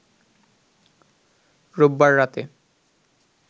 রোববার রাতে